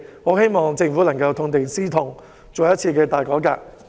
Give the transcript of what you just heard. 我希望政府能夠痛定思痛，進行一次大改革。